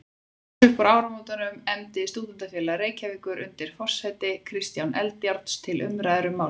Strax uppúr áramótum efndi Stúdentafélag Reykjavíkur undir forsæti Kristjáns Eldjárns til umræðufundar um málið.